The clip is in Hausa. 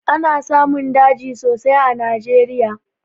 Ana samun daji sosai a najeriya